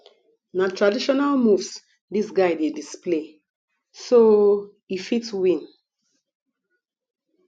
na traditional moves dis guy dey display so o e fit win